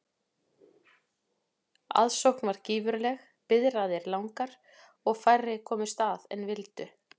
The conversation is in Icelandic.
Aðsókn varð gífurleg, biðraðir langar og komust færri að en vildu.